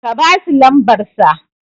ka basu lamsbarsa